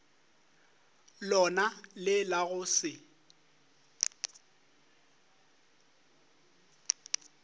lona le la go se